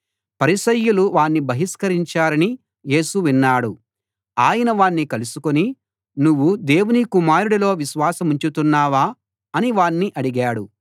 పరిసయ్యులు వాణ్ణి బహిష్కరించారని యేసు విన్నాడు ఆయన వాణ్ణి కలుసుకుని నువ్వు దేవుని కుమారుడిలో విశ్వాసముంచుతున్నావా అని వాణ్ణి అడిగాడు